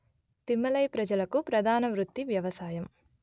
తిమ్మలై ప్రజలకు ప్రధానవృత్తి వ్యవసాయం